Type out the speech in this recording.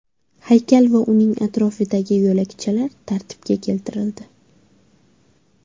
Haykal va uning atrofidagi yo‘lakchalar tartibga keltirildi.